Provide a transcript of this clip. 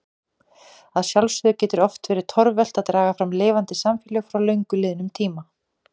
Að sjálfsögðu getur oft verið torvelt að draga fram lifandi samfélag frá löngu liðnum tíma.